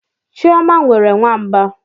Chioma nwere nwamba.